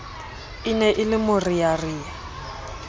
e ne e le morearea